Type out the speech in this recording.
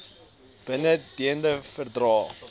bin dende verdrae